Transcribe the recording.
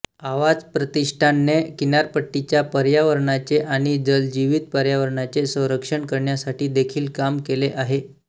आवाज़ प्रतिष्ठान ने किनारपट्टीच्या पर्यावरणाचे आणि जलजीवित पर्यावरणाचे संरक्षण करण्यासाठी देखील काम केले आहे